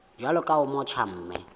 jwalo ka o motjha mme